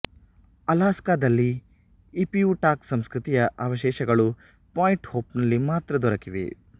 ಅಲಾಸ್ಕದಲ್ಲಿ Ipiutak ಸಂಸ್ಕೃತಿಯ ಅವಶೇಷಗಳು point ಹೋಪ್ನಲ್ಲಿ ಮಾತ್ರ ದೊರಕಿವೆ